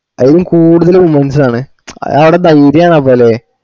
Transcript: ആയിൽ കൂടുതല് womens ആണേ അത് ആട ധൈര്യ അപ്പോലെ